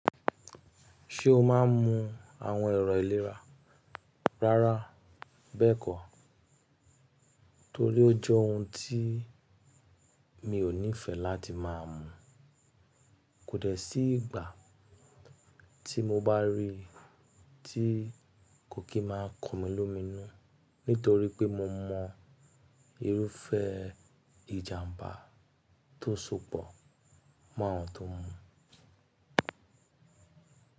Ṣé o máa ń mu àwọn ẹ̀rọ ìlera? Rárá bẹ́ẹ̀kọ́, torí ó jẹ́ ohun tí mi ò nífẹ̀ẹ́ láti máa mu. Kò dẹ̀ sí ìgbà tí mo bá rí i tí kokí máa kan mi lómíìnú, nítorí pé mo mọ irúfẹ́ ìjàmbá tó ń sopọ̀ mọ́ àwọn tó ń mu.